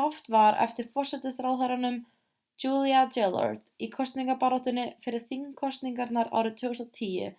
haft var eftir forsætisráðherranum julia gillard í kosningabaráttunni fyrir þingkosningarnar árið 2010